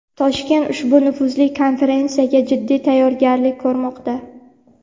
Toshkent ushbu nufuzli konferensiyaga jiddiy tayyorgarlik ko‘rmoqda.